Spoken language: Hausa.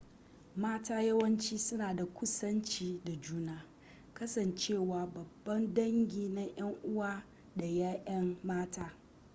mata yawanci suna da kusanci da juna kasancewa babban dangi na yan uwa da 'ya'ya mata